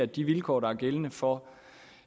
de vilkår der er gældende for